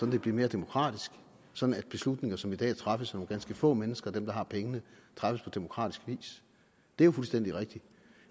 det bliver mere demokratisk og sådan at beslutninger som i dag træffes af nogle ganske få mennesker dem der har pengene træffes på demokratisk vis det er jo fuldstændig rigtigt